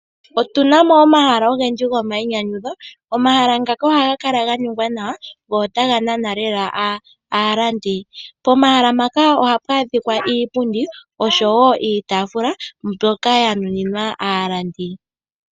Otuna omahala ogendji gomainyanyudho. Omahala ngano ohaga kala ganingwa nawa, go otaga nana lela aalandi. Pomahala mpaka ohapu adhika iipundi oshowoo iitaafula mbyoka yanuninwa aalandi.